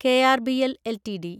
KRBL LTD